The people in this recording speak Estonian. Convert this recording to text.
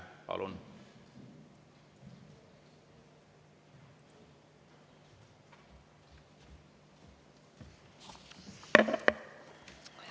Palun!